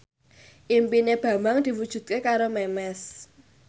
impine Bambang diwujudke karo Memes